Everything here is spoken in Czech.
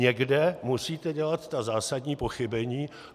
Někde musíte dělat ta zásadní pochybení.